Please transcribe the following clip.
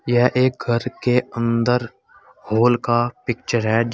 यह एक घर के अंदर हॉल का पिक्चर है जिस--